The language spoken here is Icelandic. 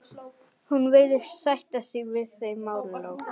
Hún virðist sætta sig við þau málalok.